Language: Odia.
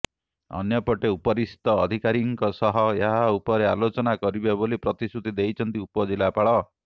ଅନ୍ୟପଟେ ଉପରିସ୍ଥ ଅଧିକାରୀଙ୍କ ସହ ଏହାଉପରେ ଆଲୋଚନା କରିବେ ବୋଲି ପ୍ରତିଶୃତି ଦେଇଛନ୍ତି ଉପଜିଲ୍ଲାପାଳ